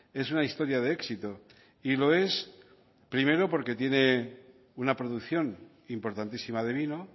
es una historia de éxito y lo es primero porque tiene una producción importantísima de vino